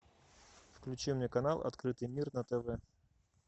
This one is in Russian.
включи мне канал открытый мир на тв